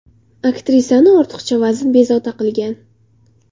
Aktrisani ortiqcha vazn bezovta qilgan.